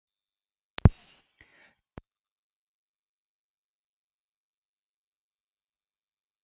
Jóhann átti sjálfur nokkur skot í leiknum, langaði honum svona mikið að skora?